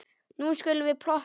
Nú skulum við plotta.